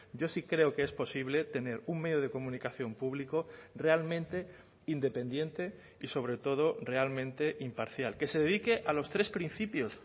yo sí creo que es posible tener un medio de comunicación público realmente independiente y sobre todo realmente imparcial que se dedique a los tres principios